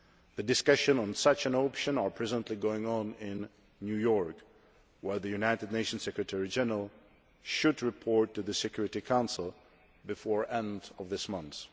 The discussions on such an option are presently going on in New York, where the United Nations Secretary General should report to the Security Council before the end of this month.